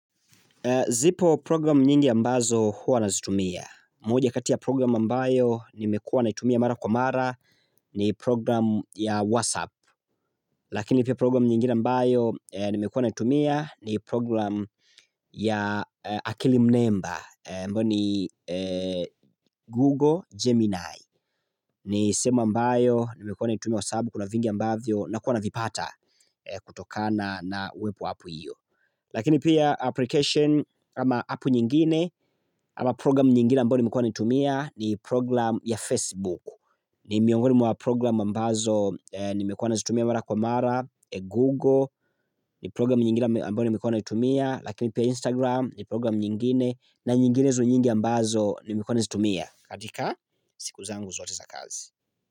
Zipo program nyingi ya ambazo hua nazitumia. Moja kati ya program ambayo nimekuwa naitumia mara kwa mara ni program ya WhatsApp. Lakini piya programu nyingi ambayo nimekuwa na itumia ni program ya akili Mnemba. Mbo ni Google Gemini. Ni semu ambayo nimekuwa naitumia wasaabu kuna vingi ambavyo nakuwa na vipata kutokana na wepo apu iyo. Lakini pia application ama apu nyingine ama program nyingine ambayo nimekuwa naitumia ni proglam ya Facebook ni miongoni mwa program ambazo eeh nimekuwa nazitumia mara kwa mara, Google ni program nyingine amba ambayo nimekuwa naitumia Lakini pia Instagram ni program nyingine na nyinginezo nyingi ambazo nimekuwa na zitumia katika, siku zangu zote za kazi.